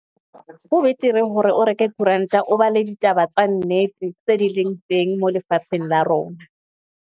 Ho betere hore o reke koranta, o bale ditaba tsa nnete tse di leng teng moo lefatsheng la rona.